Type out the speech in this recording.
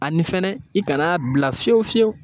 Ani fɛnɛ i kana bila fiyewu fiyewu.